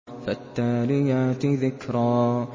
فَالتَّالِيَاتِ ذِكْرًا